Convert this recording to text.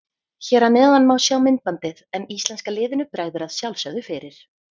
Hér að neðan má sjá myndbandið en íslenska liðinu bregður að sjálfsögðu fyrir.